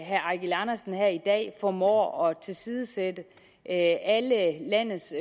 herre eigil andersen her i dag formår at tilsidesætte alle landets